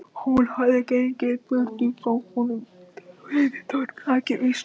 Hún hafði gengið burtu frá honum, yfir torg þakið visnuðum laufum.